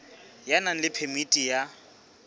ya nang le phemiti ya